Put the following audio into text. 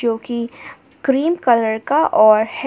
जो की cream colour का और है।